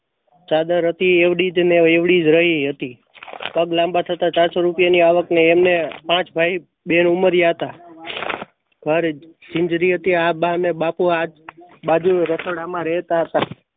ચાદર હતી એવડી જ ને એવડી જ રય હતી. પગ લાંબા થતા ચાર સો રૂપિયા ની આવક ને એમને પાંચ ભાઈ હતા. આ બા ને બાપુ આ બાજુ રસોડા માં રહેતા હતા.